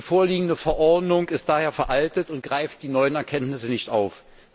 Die vorliegende Verordnung ist daher veraltet und greift die neuen Erkenntnisse nicht auf.